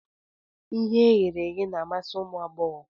Ihe e ghere eghe na-amasi ụmụ agbọghọ